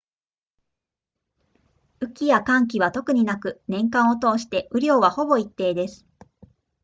雨季や乾季は特になく年間を通して雨量はほぼ一定です